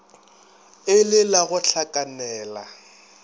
e le la go hlakanela